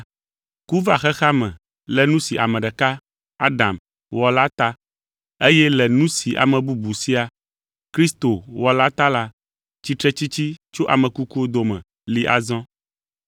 Ku va xexea me le nu si ame ɖeka, Adam, wɔ la ta eye le nu si ame bubu sia, Kristo, wɔ la ta la, tsitretsitsi tso ame kukuwo dome li azɔ.